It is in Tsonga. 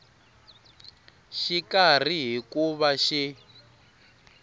xikarhi hi ku va xi